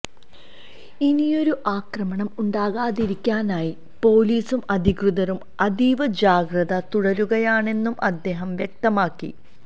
ഇനിയൊരു ആക്രമണം ഉണ്ടാകാതിരിക്കാനായി പോലീസും അധികൃതരും അതീവ ജാഗ്രത തുടരുകയാണെന്നും അദ്ദേഹം വ്യക്തമാക്കി